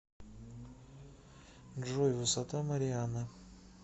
джой высота марианы